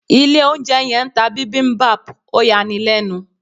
Ilé oúnjẹ yẹn ń ta bibimbap, ó yani lẹ́nu.